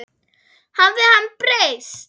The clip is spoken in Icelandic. Hafði hann breyst?